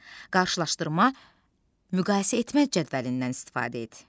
Qarşılaşdırma müqayisə etmək cədvəlindən istifadə et.